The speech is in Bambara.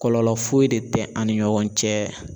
Kɔlɔlɔ foyi de tɛ ani ɲɔgɔn cɛ